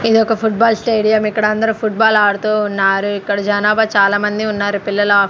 ఇదొక football stadium ఇక్కడ అందరూ ఫుట్బాల్ ఆడుతూ ఉన్నారు ఇక్కడ జనాబా చాలామంది ఉన్నారు పిల్లలా--